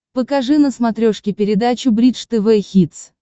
покажи на смотрешке передачу бридж тв хитс